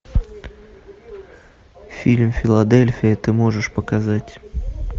фильм филадельфия ты можешь показать